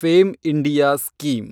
fame India scheme